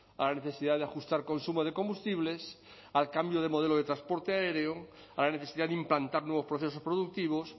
a la necesidad de ajustar consumo de combustibles al cambio de modelo de transporte aéreo a la necesidad de implantar nuevos procesos productivos